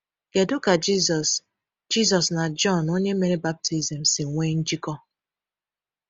Kedu ka Jisus Jisus na Jọn onye mere baptizim si nwee njikọ?